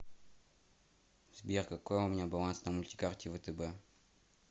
сбер какой у меня баланс на мультикарте втб